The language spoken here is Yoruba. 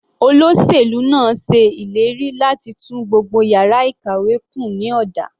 Olóṣèlú náà ṣe ìlérí láti tún gbogbo yàrá ìkàwé kùn ní ọ̀dà.